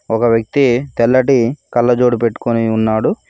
ఒక వ్యక్తి తెల్లటి కళ్ళజోడు పెట్టుకొని ఉన్నాడు.